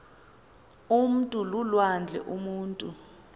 umntu lulwandle umutu